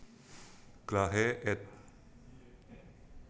Glahe ed